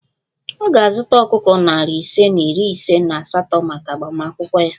Ọ ga-azụta ọkụkọ narị ise na iri ise na asatọ maka agbamakwụkwọ ya